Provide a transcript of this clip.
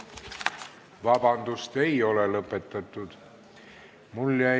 Vabandust, ei ole lõppenud!